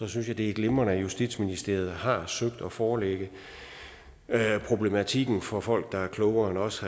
synes jeg det er glimrende at justitsministeriet har søgt at forelægge problematikken for folk der er klogere end os